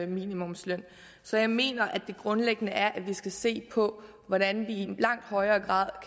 minimumsløn så jeg mener at det grundlæggende er at vi skal se på hvordan vi i langt højere grad